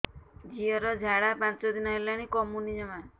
ଝିଅର ଝାଡା ପାଞ୍ଚ ଦିନ ହେଲାଣି କମୁନି ଜମା